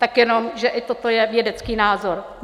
Tak jenom, že i toto je vědecký názor.